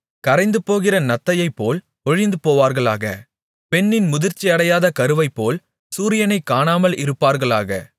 கரைந்துபோகிற நத்தையைப்போல் ஒழிந்துபோவார்களாக பெண்ணின் முதிர்ச்சி அடையாத கருவைப்போல் சூரியனைக் காணாமல் இருப்பார்களாக